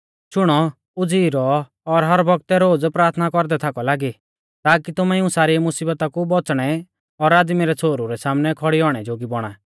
शुणौ उज़ीई रौ और हर बौगतै रोज़ प्राथना कौरदै थाकौ लागी ताकी तुमै इऊं सारी मुसीबता कु बौच़णै और आदमी रै छ़ोहरु रै सामनै खौड़ी औणै जोगी बौणा